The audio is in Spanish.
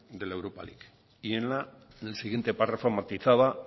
de la europa ligue y en el siguiente párrafo matizaba